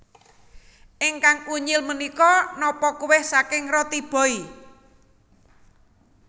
Ingkang unyil menika nopo kueh saking Roti Boy